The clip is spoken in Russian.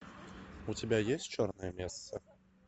у тебя есть черная месса